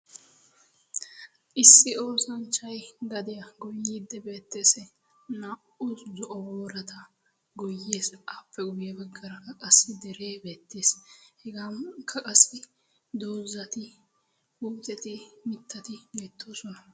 Issi oosanchay dadiyaa goyiidde beettees. naa"u boorata goyees aappe guye baggara ka qassi deree beettes hegaa ukka qassi dozati guzeti mittati beettoosona.